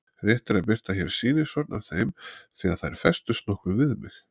Rétt er að birta hér sýnishorn af þeim því að þær festust nokkuð við mig.